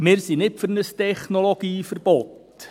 Wir sind nicht für ein Technologieverbot.